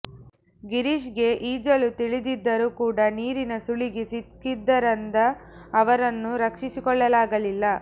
ಗಿರೀಶ್ಗೆ ಈಜಲು ತಿಳಿದಿದ್ದರೂ ಕೂಡ ನೀರಿನ ಸುಳಿಗೆ ಸಿಕ್ಕಿದ್ದರಂದ ಅವರನ್ನು ರಕ್ಷಿಸಿಕೊಳ್ಳಲಾಗಲಿಲ್ಲ